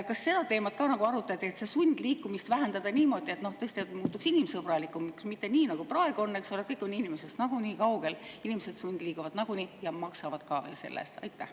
Kas seda teemat arutati, et sundliikumist vähendada niimoodi, et tõesti elu muutuks inimsõbralikumaks, mitte nii, nagu praegu on, et kõik on inimestest nii kaugel, inimesed sundliiguvad ja maksavad selle eest?